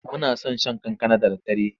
Muna son shan kankana da daddare.